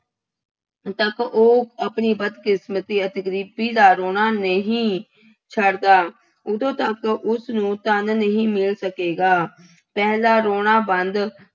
ਤੱਕ ਉਹ ਆਪਣੀ ਬਦਕਿਸਮਤੀ ਅਤੇ ਗਰੀਬੀ ਦਾ ਰੌਣਾ ਨਹੀਂ ਛੱਡਦਾ, ਉਦੋਂ ਤੱਕ ਉਸਨੂੰ ਧੰਨ ਨਹੀਂ ਮਿਲ ਸਕੇਗਾ। ਪਹਿਲਾਂ ਰੌਣਾ ਬੰਦ